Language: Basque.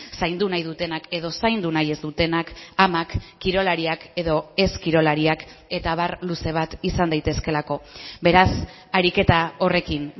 zaindu nahi dutenak edo zaindu nahi ez dutenak amak kirolariak edo ez kirolariak eta abar luze bat izan daitezkeelako beraz ariketa horrekin